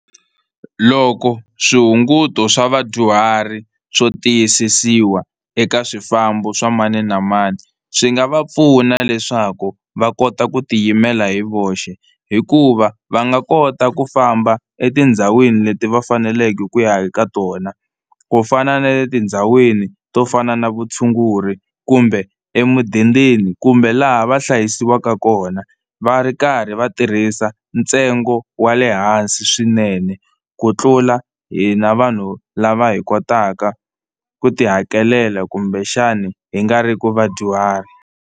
Loko swihunguto swa vadyuhari swo tiyisisiwa eka swifambo swa mani na mani swi nga va pfuna leswaku va kota ku tiyimela hi voxe hikuva va nga kota ku famba etindhawini leti va faneleke ku ya eka tona kufana na le tindhawini to fana na vutshunguri kumbe emidendeni kumbe laha va hlayisiwaka kona va ri karhi va tirhisa ntsengo wa le hansi swinene, ku tlula hina vanhu lava hi kotaka ku tihakelela kumbexani hi nga riki vadyuhari.